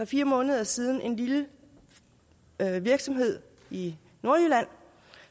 fire måneder siden en lille virksomhed i nordjylland